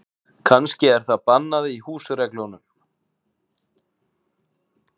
Kannski er það bannað í húsreglunum.